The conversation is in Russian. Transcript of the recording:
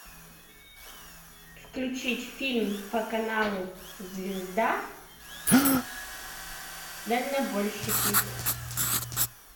включить фильм по каналу звезда дальнобойщики